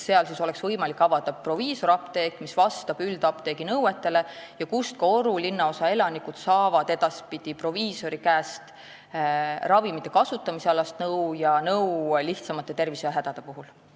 Seal oleks võimalik avada proviisorapteek, mis vastab üldapteegi nõuetele, kust ka Oru linnaosa elanikud saaksid edaspidi nõu ravimite kasutamise kohta ja lihtsamate tervisehädade puhul.